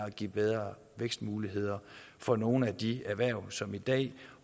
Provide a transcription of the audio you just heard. at give bedre vækstmuligheder for nogle af de erhverv som i dag